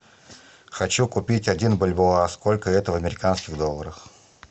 хочу купить один бальбоа сколько это в американских долларах